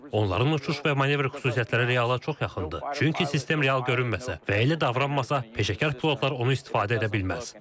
Onların uçuş və manevr xüsusiyyətləri reala çox yaxındır, çünki sistem real görünməsə və elə davranmasa, peşəkar pilotlar onu istifadə edə bilməz.